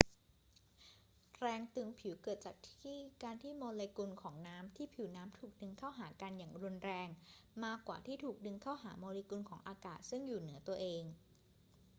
แรงตึงผิวเกิดจากการที่โมเลกุลของน้ำที่ผิวน้ำถูกดึงเข้าหากันอย่างรุนแรง มากกว่าที่ถูกดึงเข้าหาโมเลกุลของอากาศซึ่งอยู่เหนือตัวเอง